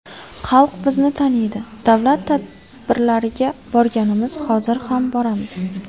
Xalq bizni taniydi, davlat tadbirlariga borganmiz, hozir ham boramiz.